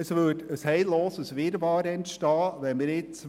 Es würde ein heilloser Wirrwarr entstehen, wenn wir jetzt